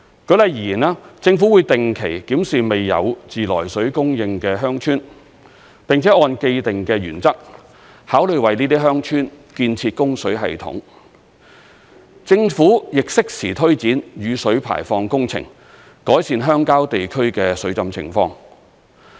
舉例而言，政府會定期檢視未有自來水供應的鄉村，並且按既定的原則，考慮為這些鄉村建設供水系統；政府亦適時推展雨水排放工程，改善鄉郊地區的水浸情況。